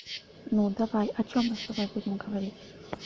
ну давай о чём мы с тобой будем говорить